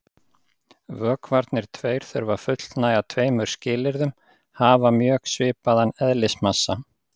Vökvarnir tveir þurfa að fullnægja tveimur skilyrðum: Hafa mjög svipaðan eðlismassa.